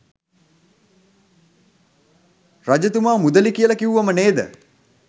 රජතුමා මුදළි කියල කිව්වම නේද?